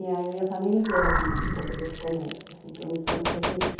E aí a família inteira vive um pouco desse comércio, assim, então eles foram fazer isso.